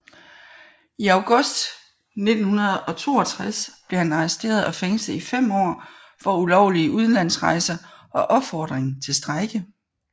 I august 1962 blev han arresteret og fængslet i fem år for ulovlige udenlandsrejser og opfordring til strejke